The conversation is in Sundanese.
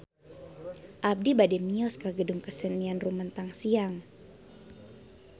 Abi bade mios ka Gedung Kesenian Rumetang Siang